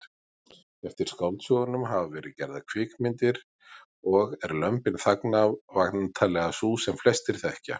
Eftir skáldsögunum hafa verið gerðar kvikmyndir og er Lömbin þagna væntanlega sú sem flestir þekkja.